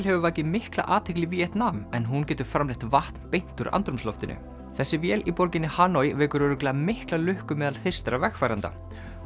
hefur vakið mikla athygli í Víetnam en hún getur framleitt vatn beint úr andrúmsloftinu þessi vél í borginni Hanoi vekur örugglega mikla lukku meðal vegfarenda